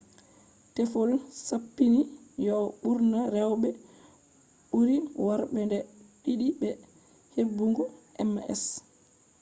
teffol sappini yo'o ɓurna rewɓe ɓuri worɓe nde ɗiɗi be heɓugo ms